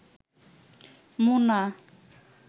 Mona